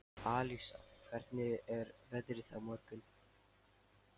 Alísa, hvernig er veðrið á morgun?